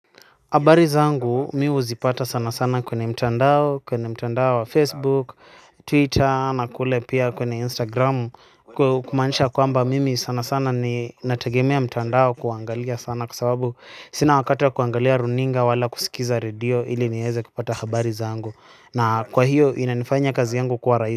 Habari zangu mi huzipata sana sana kwenye mtandao kwenye mtandao wa facebook twitter na kule pia kwenye instagram kumanisha kwamba mimi sana sana ni natagemea mtandao kuangalia sana kwa sababu sina wakati wa kuangalia runinga wala kusikiza radio ili nieze kupata habari zangu na kwa hiyo inanifanya kazi yangu kwa rais.